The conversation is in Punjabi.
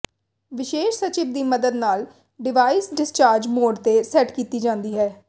ਵਿਸ਼ੇਸ਼ ਸਵਿਚ ਦੀ ਮਦਦ ਨਾਲ ਡਿਵਾਈਸ ਡਿਸਚਾਰਜ ਮੋਡ ਤੇ ਸੈਟ ਕੀਤੀ ਜਾਂਦੀ ਹੈ